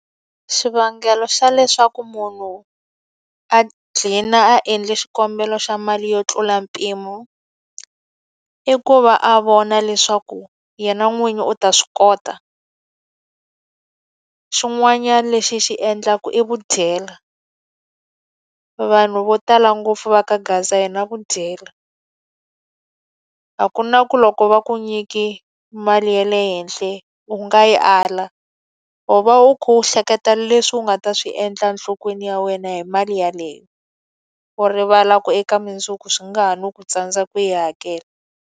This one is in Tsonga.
Xivangelo xa leswaku munhu a gcina a endla xikombelo xa mali yo tlula mpimo, i ku va a vona leswaku yena n'winyi u ta swi kota. Xin'wanyana lexi xi endlaka i vudyela. Vanhu vo tala ngopfu va ka gaza hi na vudyela, a ku na ku loko va ku nyike mali le ya le henhla u nga yi ala. U va u kha u hleketa leswi u nga ta swi endla enhlokweni ya wena hi mali yeleyo, u rivala ku eka mundzuku swi nga ha no ku tsandza ku yi hakela.